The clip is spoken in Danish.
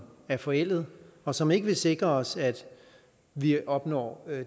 er forældet og som ikke vil sikre os at vi opnår